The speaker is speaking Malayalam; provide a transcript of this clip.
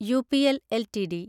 UPL LTD